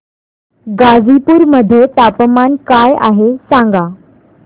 गाझीपुर मध्ये तापमान काय आहे सांगा